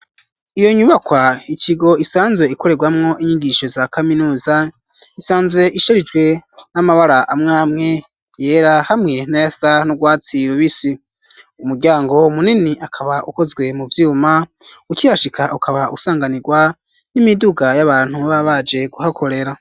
Iyo nyubakwa ikigo isanzwe ikorerwamwo inyigisho za kaminuza, isanzwe isherijwe n'amabara amwamwe yera, hamwe nayasa n'urwatsi rubisi ,umuryango munini akaba ukozwe mu vyuma, ukihashika ukaba usanganirwa n'imiduga y'abantu baba baje kuhakorera.